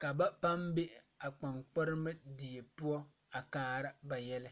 ka ba paŋ be a kpaŋkpalma die poɔ a kaara ba yɛlɛ.